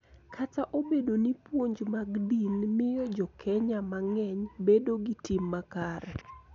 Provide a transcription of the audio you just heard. Kata obedo ni puonj mag din miyo Jo-Kenya mang�eny bedo gi tim makare.